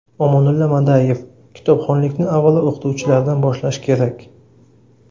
Omonulla Madayev: Kitobxonlikni avvalo o‘qituvchilardan boshlash kerak.